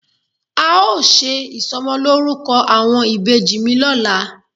A ó ṣe ìsọmọlórúkọ àwọn ìbejì mi lọ́la.